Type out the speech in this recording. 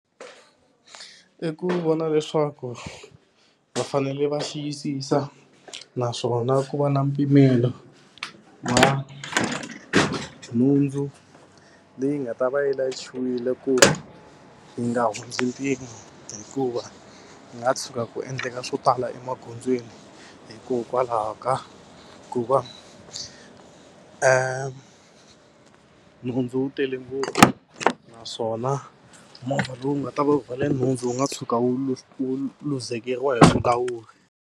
I ku vona leswaku va fanele va xiyisisa naswona ku va na mpimelo wa nhundzu leyi nga ta va yi layichiwile ku yi nga hundzi mpimo hikuva ku nga tshuka ku endleka swo tala emagondzweni hikokwalaho ka ku va nhundzu yi tele ngopfu naswona movha lowu nga ta va rhwale nhundzu wu nga tshuka wu luzekeriwa hi vulawuri.